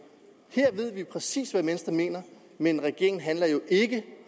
her ved vi præcis hvad venstre mener men regeringen handler jo ikke